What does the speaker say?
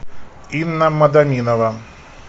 инна мадаминова